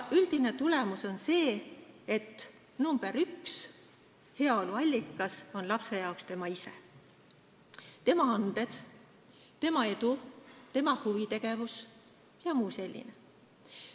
Üldine tulemus on see, et heaolu allikas nr 1 on lapsele tema ise: tema anded, tema edu, tema huvitegevus jms.